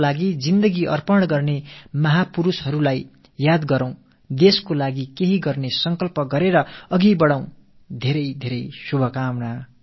பாரதத்துக்காக முழுமையான தியாகம் செய்த அந்த மஹா புருஷர்களின் தூய நினைவுகள் நம்மை ஆட்கொள்ளட்டும் நாட்டுக்காக நல்லன செய்வோம் என்ற மன உறுதிப்பாட்டோடு முன்னேறிச் செல்வோம்